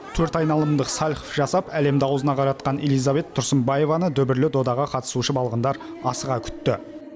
төрт айналымдық сальхов жасап әлемді аузына қаратқан элизабет тұрсынбаеваны дүбірлі додаға қатысушы балғындар асыға күтті